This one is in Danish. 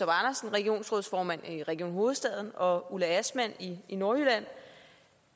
regionsrådsformand i region hovedstaden og ulla astman i nordjylland